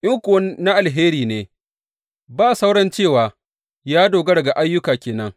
In kuwa na alheri ne, ba sauran cewa ya dogara ga ayyuka ke nan.